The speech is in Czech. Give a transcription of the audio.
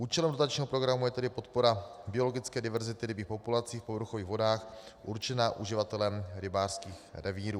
Účelem dotačního programu je tedy podpora biologické diverzity rybích populací v povrchových vodách určená uživatelem rybářských revírů.